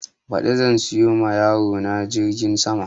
Ɓadi zan siyo ma yaro na jirgin sama